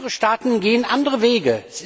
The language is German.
Andere Staaten gehen andere Wege.